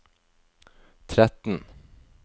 tretten